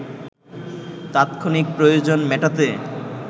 তাৎক্ষণিক প্রয়োজন মেটাতে